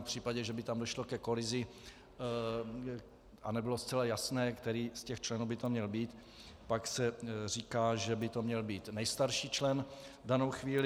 V případě, že by tam došlo ke kolizi a nebylo zcela jasné, který z těch členů by to měl být, pak se říká, že by to měl být nejstarší člen v danou chvíli.